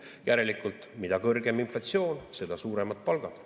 Järelikult, mida kõrgem inflatsioon, seda suuremad palgad.